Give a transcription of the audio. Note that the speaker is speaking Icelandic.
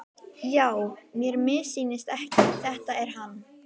Já, mér missýnist ekki, þetta er hann.